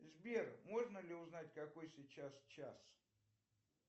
сбер можно ли узнать какой сейчас час